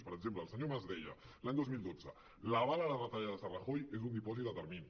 per exemple el senyor mas deia l’any dos mil dotze l’aval a les retallades de rajoy és un dipòsit a termini